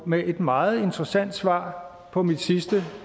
med et meget interessant svar på mit sidste